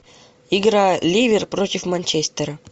игра ливер против манчестера